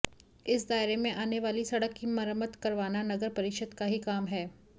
इस दायरे में आने वाली सड़क की मरम्मत करवाना नगर परिषद का ही काम है